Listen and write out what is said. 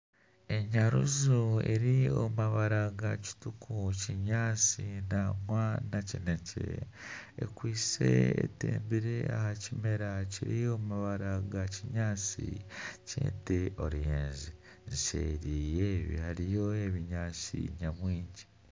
Enyaruju eri omu mabara ga kituku, kinyaatsi nangwa na kinekye ekwitse etembire aha kimera kiri omu mabara ga kinyaatsi kyete oruyenje. Eseri yebi hariyo ebinyaatsi nyamwingi.